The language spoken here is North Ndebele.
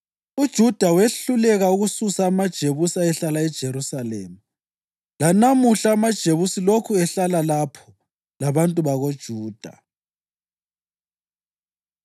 UJuda wehluleka ukususa amaJebusi ayehlala eJerusalema; lanamuhla amaJebusi lokhu ehlala lapho labantu bakoJuda.